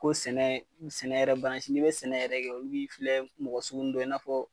Ko sɛnɛ ,sɛnɛ yɛrɛ . Ni be sɛnɛ yɛrɛ kɛ olu b'i filɛ mɔgɔ sugunin dɔ ye , i na fɔ